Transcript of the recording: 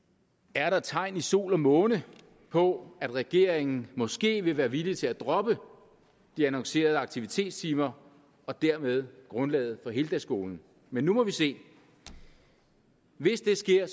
er der tegn i sol og måne på at regeringen måske vil være villig til at droppe de annoncerede aktivitetstimer og dermed grundlaget for heldagsskolen men nu må vi se hvis det sker